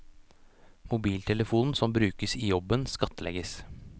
Mobiltelefonen som brukes i jobben, skattlegges.